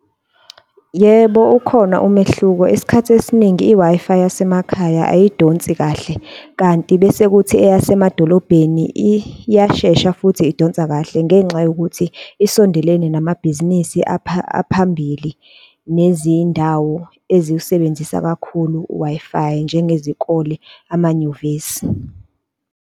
Yebo, ukhona umehluko. Isikhathi esiningi i-Wi-Fi yasemakhaya ayidonsi kahle, kanti bese kuthi eyasemadolobheni iyashesha futhi idonsa kahle ngenxa yokuthi isondelene namabhizinisi aphambili, nezindawo eziwusebenzisa kakhulu u-Wi-Fi njengezikole, amanyuvesi.